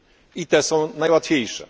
I te są najłatwiejsze.